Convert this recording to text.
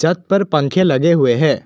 छत पर पंखे लगे हुए हैं।